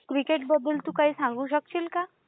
Cricket बद्दल तू काही सांगू शकशील का?